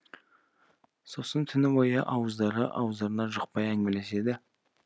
сосын түні бойы ауыздары ауыздарына жұқпай әңгімелеседі